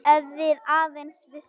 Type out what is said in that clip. Ef við aðeins vissum.